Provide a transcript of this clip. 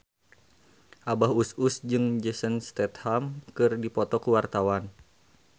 Abah Us Us jeung Jason Statham keur dipoto ku wartawan